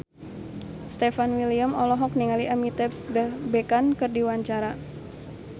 Stefan William olohok ningali Amitabh Bachchan keur diwawancara